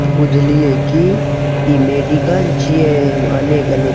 बुझलिए की इ मेडिकल छीये एमे अनेक-अनेक --